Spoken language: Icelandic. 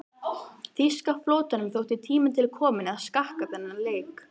Þýska flotanum þótti tími til kominn að skakka þennan leik.